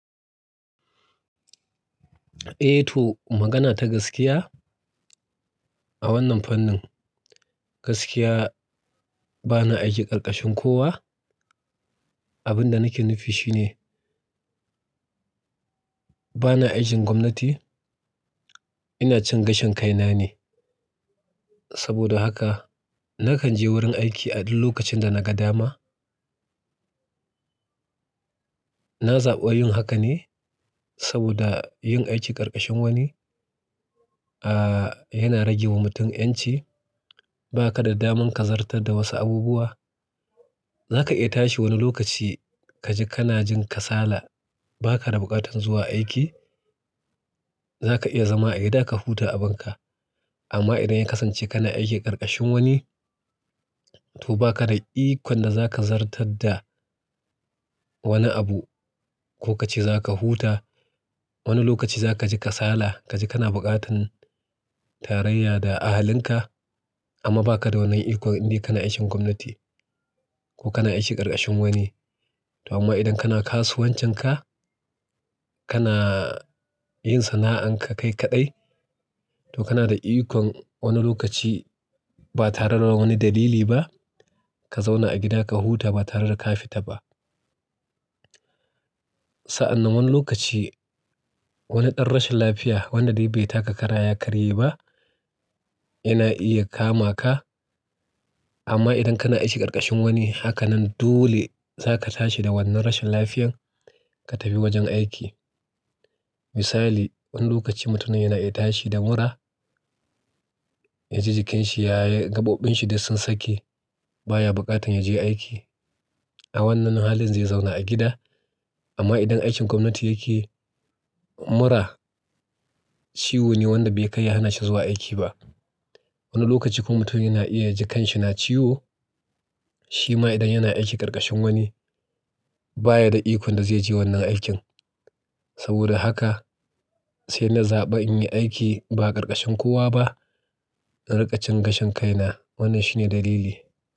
Ei to magana ta gaskiya, a wannan fannin gaskiya bana aiki karkashin kowa. Abin da nake nufi shi ne bana aikin gwamnati, ina cin gashin kaina ne. Saboda haka nakan je wurin aiki a duk lokacin da na ga dama. Na zaɓi yin haka ne saboda yin aiki karkashin wani, ah yana rage wa mutum 'yanci. Ba ka da daman ka zartar da wasu abubuwa. Za ka iya tashi wani lokaci kaji kana jin kasala ba ka da buƙatar zuwa aiki. Za ka iya zama a gida ka huta abinka. Amma idan ya kasance kana aiki karkashin wani, to ba ka da ikon da za ka zartar da wani abu. Ko ka ce za ka huta, wani lokaci za ka ji kasala, ka ji kana buƙatar tarayya da ahalinka. Amma ba ka da wani ikon in dai kana aikin gwamnati ko kana aiki karkashin wani. To amma idan kana kasuwancinka, kana yin sana'an ka kai kaɗai, to kana da ikon wani lokaci ba tare da wani dalili ba ka zauna a gida ka huta ba tare da ka fita ba. Sa'an nan wani lokaci wani ɗan rashin lafiya wanda dai bai taka kara ya karye ba yana iya kama ka. Amma idan kana aiki karkashin wani, haka nan dole za ka tashi da wannan rashin lafiyar ka tafi wajen aiki. Misali, wani lokaci mutum yana iya tashi da mura yaji jikinshi ya yi gaɓoɓin shi dai sun sake baya buƙatar ya je aiki. A wannan halin zai zauna a gida. Amma idan aikin gwamnati yake mura ciwo ne wanda bai kai ya hanashi zuwa aiki ba. Wani lokaci kuma mutum yana iya jikinsa yana ciwo, shi ma idan yana aiki karkashin wani baya da ikon da zai je wannan aikin. Saboda haka sai na zaɓi in yi aiki ba karkashin kowa ba, in riƙa cin gashin kaina. Wannan shine dalili.